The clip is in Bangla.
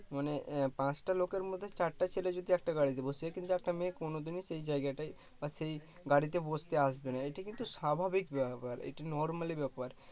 মানে পাঁচটা লোকের মধ্যে চারটে ছেলে যদি একটা গাড়িতে বসে কিন্তু একটা মেয়ে কোনো দিনই সেই জায়গাটায় বা সেই গাড়িতে বসতে আসবে না, এইটা কিন্তু স্বাভাবিক ব্যাপার এটা normally ব্যাপার